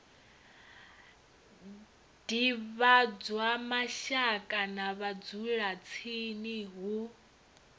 divhadzwa mashaka na vhadzulatsini hu